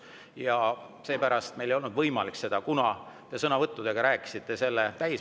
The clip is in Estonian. Ja seepärast meil ei olnud võimalik seda, kuna te rääkisite sõnavõttudega täis.